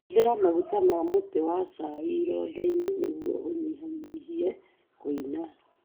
Hũthĩra maguta ma mũtĩ wa chai ironda-inĩ nĩguo ũnyihanyihie kũina.